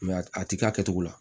a ti k'a kɛcogo la